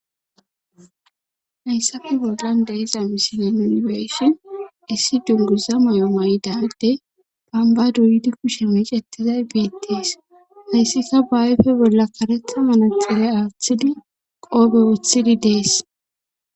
hayssappe bollan de'iza misilen nuni be'ishin issi dunguza may7o mayidade bamba duydi kushe mecetizay biettees hayssika baayfe bolla karetha manutxire aaththidi qoobe oththidi dees